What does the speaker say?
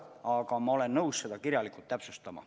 Aga ma olen nõus seda kirjalikult täpsustama.